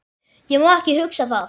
Ég má ekki hugsa það.